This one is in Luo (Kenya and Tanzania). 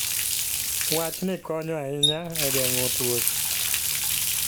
Wachni konyo ahinya e geng'o tuoche.